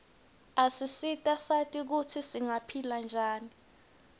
asisita sati kutsi singaphila njani